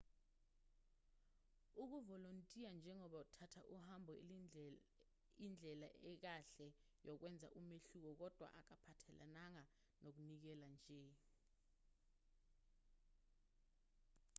ukuvolontiya njengoba uthatha uhambo indlela ekahle yokwenza umehluko kodwa akuphathelananga nokunikela nje